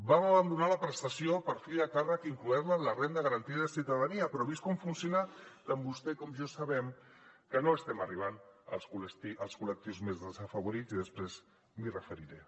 vam abandonar la prestació per fill a càrrec incloent la en la renda garantida de ciutadania però vist com funciona tant vostè com jo sabem que no estem arribant als col·lectius més desafavorits i després m’hi referiré